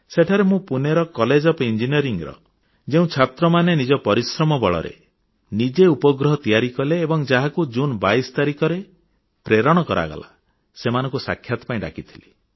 ସେଠାରେ ମୁଁ ପୁନେର କଲେଜ ଓଏଫ୍ ଇଞ୍ଜିନିୟରିଂ ର ଯେଉଁ ଛାତ୍ରମାନେ ନିଜ ପରିଶ୍ରମ ବଳରେ ନିଜେ ଉପଗ୍ରହ ତିଆରି କଲେ ଏବଂ ଯାହାକୁ ଜୁନ 22 ତାରିଖରେ ପ୍ରେରଣ କରାଗଲା ସେମାନଙ୍କୁ ସାକ୍ଷାତ ପାଇଁ ଡାକିଥିଲି